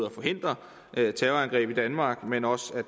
at forhindre terrorangreb i danmark men også